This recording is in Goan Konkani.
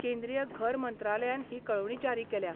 केंद्रीय घर मंत्रालयान हि कळोवणी जारी केल्या.